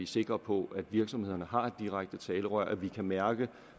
sikre på at virksomhederne har et direkte talerør at vi kan mærke